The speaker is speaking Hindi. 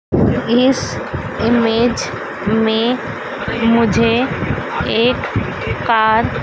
इस इमेज में मुझे एक कार --